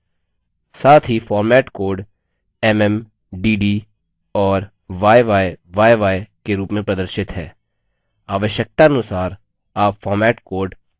साथ ही format code mm dd और yyyy के रूप में प्रदर्शित है आवश्यकतानुसार आप format code बदल सकते हैं